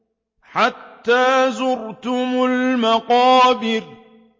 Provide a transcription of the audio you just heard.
حَتَّىٰ زُرْتُمُ الْمَقَابِرَ